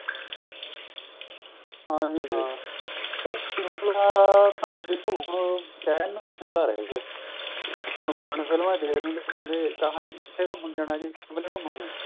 ਹਾਂਜੀ ਹਾਂ ਪਰ ਸ਼ਿਮਲਾ ਤਾਂ ਦੇਖੋ ਹੁਣ ਕਹਿਣ ਨੂੰ ਸ਼ਿਮਲਾ ਰਹਿ ਗਿਆ ਹੁਣ ਪੁਰਾਣੀ ਫ਼ਿਲਮਾ ਵਿੱਚ ਦੇਖਦੇ ਹੁੰਦੇ ਕਹਿੰਦੇ ਕਿਥੇ ਘੁੱਮਣ ਜਾਣਾ ਜ਼ੀ ਸਿਮਲੇ ਘੁੱਮਣ ਜਾਣਾ